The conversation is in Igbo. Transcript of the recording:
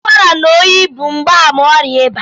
Ụkwara na oyi bụ mgbaàmà ọrịa ịba